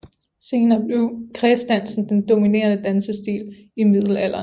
Senere blev kredsdansen den dominerende dansstilen i middelalderen